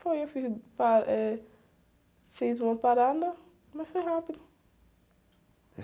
Foi, eu fiz pa, eh, fiz uma parada, mas foi rápido.